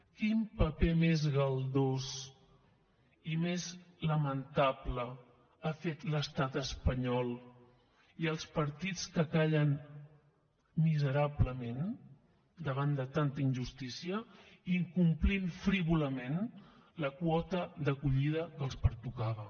quin paper més galdós i més lamentable han fet l’estat espanyol i els partits que callen miserablement davant de tanta injustícia incomplint frívolament la quota d’acollida que els pertocava